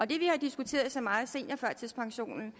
det vi har diskuteret så meget om seniorførtidspensionen